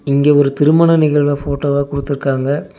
இங்க ஒரு திருமண நிகழ்வ ஃபோட்டோவா குடுத்துருக்காங்க.